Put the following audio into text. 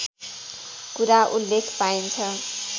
कुरा उल्लेख पाइन्छ